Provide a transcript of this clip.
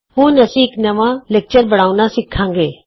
ਹੁਣ ਅਸੀਂ ਇਕ ਨਵਾਂ ਲੈਕਚਰ ਬਣਾਉਣਾ ਸਿੱਖਾਂਗੇ